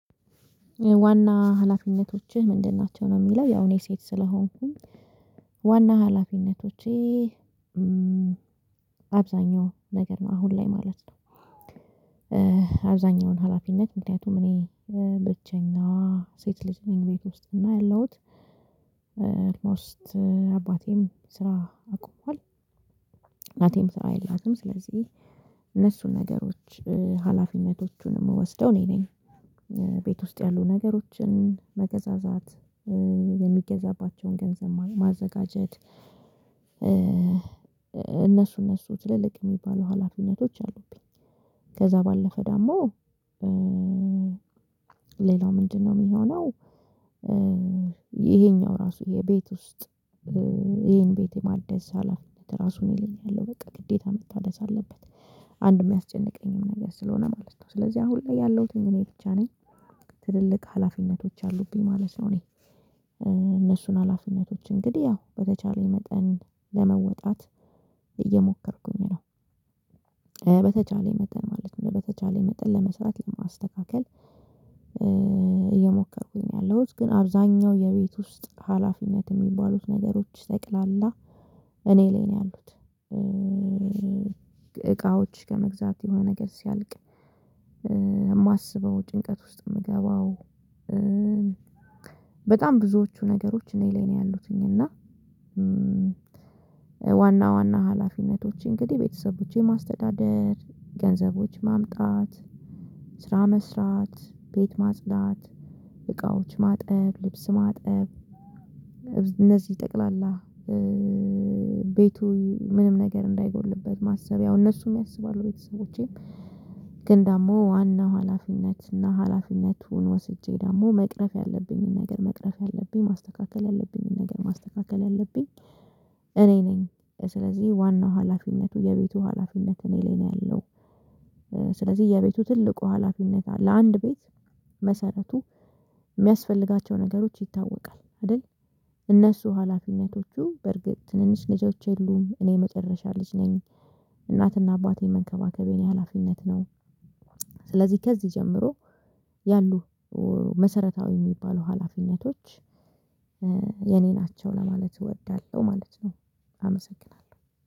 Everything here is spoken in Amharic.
ዋና ሀላፊነቶችህ ምንድን? ናቸው ነው የሚለው ያው እኔ ሴት ስለሆንኩኝ ዋና ሀላፊነቶቼ። አብዛኛው ነገር ነው አሁን ላይ ማለት ነው። አብዛኛውን ሀላፊነት ምክንያቱም እኔ ብቼና ሴት ልጅ ነኝ ቤት ውስጥ እና ያለሁት። ኦልሞስት አባቴም ስራ አቁሟል። እናቴም ስራ የላትም ስለዚህ። እነሱን ነገሮች ሀላፊነት የሚወስደው እኔ ነኝ። ቤት ውስጥ ያሉ ነገሮችን መገዛዛት የሚገዛባቸውን ገንዘብ ማዘጋጀት። እነሱ እነሱ ትልልቅ የሚባሉ ሀላፊነቶች አሉብኝ። ከዛ ባለፈ ደግሞ ሌላው ምንድነው የሚሆነው? ይሄኛው ራሱ የቤት ውስጥ ይሄን ቤት የማደስ ሐላፊነት ራሱን ይለኛል ያለው በቃ ግዴታ መታደስ አለበት። አንድ የሚያስጨንቀኝም ነገር ስለሆነ ማለት ነው ስለዚህ አሁን ላይ ያለሁት እኔ ብቻ ነኝ። ትልልቅ ሀላፊነቶች አሉብኝ ማለት ነው። እኔ እነሱን ሀላፊነቶች እንግዲህ ያው በተቻለኝ መጠን ለመወጣት እየሞከርኩኝ ነው። በተቻለኝ መጠን ማለት ነው በተቻለኝ መጠን ለመስራት ለማስተካከል። እየሞከርኩኝ ነው ያለሁት ግን አብዛኛው የቤት ውስጥ ሀላፊነት የሚባሉት ነገሮች ጠቅላላ እኔ ላይ ነው ያሉት። እቃዎች ከመግዛት የሆነ ነገር ሲያልቅ። የማስበው ጭንቀት ውስጥ የምገባው። በጣም ብዙዎቹ ነገሮች እኔ ላይ ነው ያሉትኝ እና። ዋና ዋና ሀላፊነቶች እንግዲህ ቤተሰቦቼ ማስተዳደር ገንዘቦች ማምጣት ስራ መስራት ቤት ማጽዳት እቃዎች ማጠብ ልብስ ማጠብ እነዚህ ጠቅላላ። ቤቱ ምንም ነገር እንዳይጎድልበት ማሰብ ያው እነሱም ያስባሉ ቤተሰቦቼም። ግን ደግሞ ዋናው ሀላፊነት እና ሀላፊነቱን ወስጄ ደግሞ መቅረፍ ያለብኝን ነገር መቅረፍ ያለብኝ ማስተካከል ያለብኝን ነገር ማስተካከል ያለብኝ እኔ ነኝ። ስለዚህ ዋናው ሀላፊነቱ የቤቱ ሀላፊነት እኔ ላይ ነው ያለው። ስለዚህ የቤቱ ትልቁ ሀላፊነት ለአንድ ቤት መሰረቱ የሚያስፈልጋቸው ነገሮች ይታወቃል አይደል? እነሱ ሀላፊነቶቹ በርግጥ ትንንሽ ልጆች የሉም እኔ መጨረሻ ልጅ ነኝ። እናትና አባቴን መንከባከብ የኔ ሀላፊነት ነው። ስለዚህ ከዚህ ጀምሮ ያሉ መሰረታዊ የሚባሉ ሀላፊነቶች። የኔ ናቸው ለማለት እወዳለሁ ማለት ነው። አመሰግናለሁ